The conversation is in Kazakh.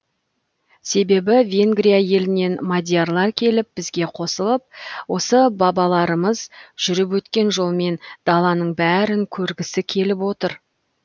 себебі венгрия елінен мадиярлар келіп бізге қосылып осы бабаларымыз жүріп өткен жолмен даланың бәрін көргісі келіп отыр